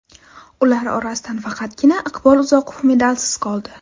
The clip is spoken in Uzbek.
Ular orasidan faqatgina Iqbol Uzoqov medalsiz qoldi.